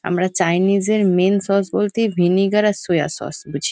আমরা চাইনিস -এর main sauce বলতে ভিনিগার আর সোয়া সস বুঝি।